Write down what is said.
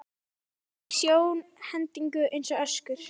Andlit í sjónhendingu eins og öskur.